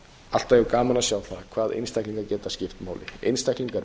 alltaf jafn gaman að sjá það hvað einstaklingar geta skipt máli einstaklingar